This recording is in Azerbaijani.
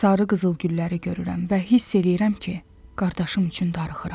sarı qızıl gülləri görürəm və hiss eləyirəm ki, qardaşım üçün darıxıram.